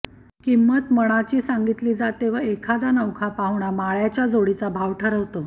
किंमत मणाची सांगितली जाते व एखादा नवखा पाहुणा माळ्याच्या जोडीचा भाव ठरवतो